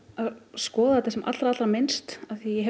skoða þetta sem allra allra minnst því ég